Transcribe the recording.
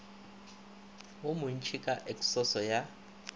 wo montši ka eksoso ya